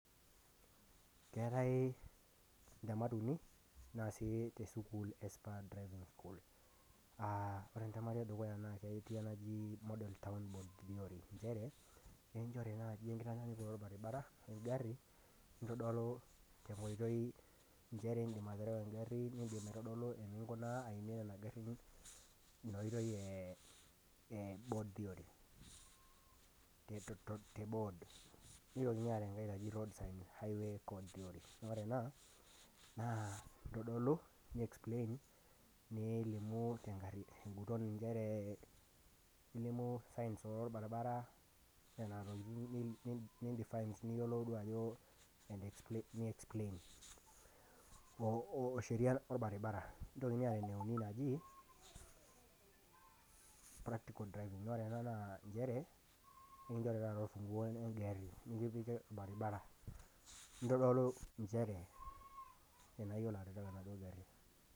Keatai intemat uni naasi te sukuul e Spur driving school. Ore entemata e dukuya naa model town theory nchere, aikinchori naaji enkitanyanyukoto olbaribara we engari, nintodolu tenkoitoi nchere indim aterewa engari , nindim aitodolu eninkunaa eniimie nena garin, ina oitoi e board theory, te board. Neitokini aareu enkai naji roadside highway theory, naa ore ena naa eitadolu neixplain, nilimu tenguton nchere ilimu signs olbaribara, nena tokitin, niindifain sii duao ajo niexpalin, o sheria olbaribara. Neaitokini aayau enaji, practical driving, naa ore ena naa nchere ekinchori taata olfung'uo we eng'ari, nekipiki olbaribara, nintodolu nchere tanaa iyilolo ataerewa ena gari.